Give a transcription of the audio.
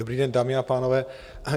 Dobrý den, dámy a pánové.